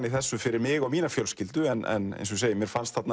í þessu fyrir mig og mína fjölskyldu en eins og ég segi mér fannst